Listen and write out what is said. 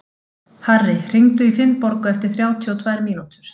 Harri, hringdu í Finnborgu eftir þrjátíu og tvær mínútur.